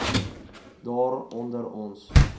daar onder ons